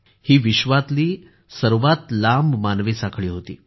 ही विश्वातली सर्वात लांब मानवी साखळी होती